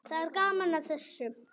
Það er gaman að þessu.